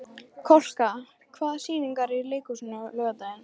Kolka, hvaða sýningar eru í leikhúsinu á laugardaginn?